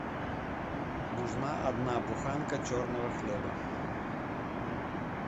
нужна одна буханка черного хлеба